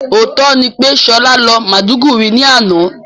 Òótọ́ ni pé Ṣọlá lọ Maiduguri ní àná